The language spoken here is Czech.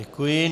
Děkuji.